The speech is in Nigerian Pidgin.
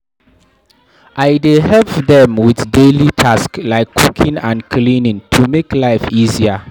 I dey help dem with daily tasks like cooking and cleaning to make life easier.